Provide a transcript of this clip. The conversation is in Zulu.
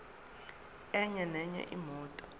enye nenye imoto